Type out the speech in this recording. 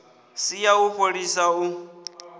si ya u fholisa u